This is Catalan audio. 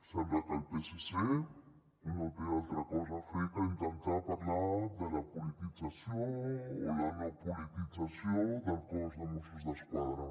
sembla que el psc no té altra cosa a fer que intentar parlar de la politització o la no politització del cos de mossos d’esquadra